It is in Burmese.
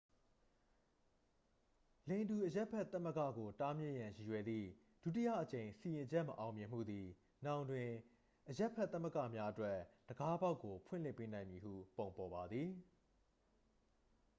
လိင်တူအရပ်ဘက်သမဂ္ဂကို တားမြစ်ရန်ရည်ရွယ်သည့် ဒုတိယအကြိမ်စီရင်ချက်မအောင်မြင်မှုသည် နောင်တွင် အရပ်ဘက် သမဂ္ဂများအတွက် တံခါးပေါက်ကို ဖွင့်လှစ်ပေးနိုင်မည့်ပုံပေါ်ပါသည်